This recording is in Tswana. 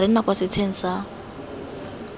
re nna kwa setsheng sa